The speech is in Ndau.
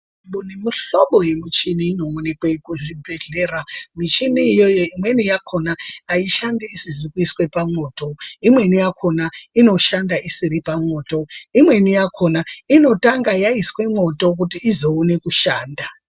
Kune mihlobo yemuchini inoonekwe kuzvibhehlera. Mishini iyi imweni yakhona aishandi isizi kuiswe pamwoto, imweni yakhona inoshanda isiri pamwoto. Imweni yakhona inotanga yaiswe mwoto kuti izoone kushanda.